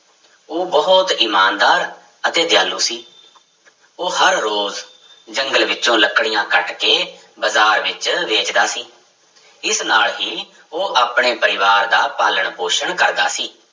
ਉਹ ਬਹੁਤ ਇਮਾਨਦਾਰ ਅਤੇ ਦਿਆਲੂ ਸੀ ਉਹ ਹਰ ਰੋਜ਼ ਜੰਗਲ ਵਿੱਚੋਂ ਲੱਕੜੀਆਂ ਕੱਟ ਕੇ ਬਾਜ਼ਾਰ ਵਿੱਚ ਵੇਚਦਾ ਸੀ, ਇਸ ਨਾਲ ਹੀ ਉਹ ਆਪਣੇ ਪਰਿਵਾਰ ਦਾ ਪਾਲਣ ਪੋਸ਼ਣ ਕਰਦਾ ਸੀ।